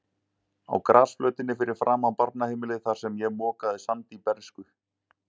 Á grasflötinni fyrir framan barnaheimilið, þar sem ég mokaði sandi í bernsku.